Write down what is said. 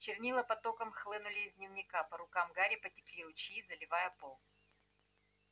чернила потоком хлынули из дневника по рукам гарри потекли ручьи заливая пол